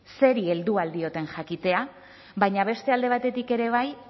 zeri heldu ahal dioten jakitea baina beste alde batetik ere bai